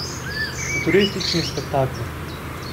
Futuristični spektakli.